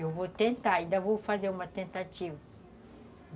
Eu vou tentar, ainda vou fazer uma tentativa.